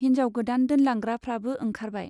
हिन्जाव गोदान दोनलांग्राफ्राबो ओंखारबाय।